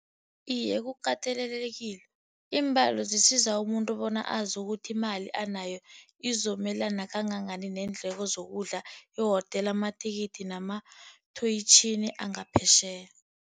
Iye, kukatelelekile. Iimbalo zisiza umuntu bona azi ukuthi imali anayo izomelana kangangani neendleko zokudla, ihotela, amathikithi wangaphetjheya